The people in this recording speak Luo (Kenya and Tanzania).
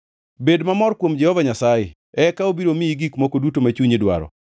Bed mamor kuom Jehova Nyasaye eka obiro miyi gik moko duto ma chunyi dwaro.